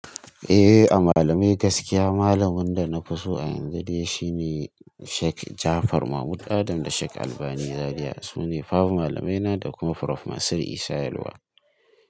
Eh a malamai gaskiya malamin da na fi so a yanzu dai shi ne Sheik Jafar Mahmud Adam da Sheik Albani Zariya. Su ne babu malamaina da kuma Prof Mansir Isha yalwa.